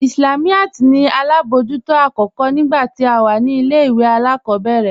Islamiyat ní alábọjútò akókò nígbà tí à wà ní ilẹ̀-ìwé aláàkòbẹ̀rẹ̀